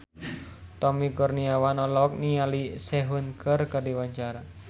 Tommy Kurniawan olohok ningali Sehun keur diwawancara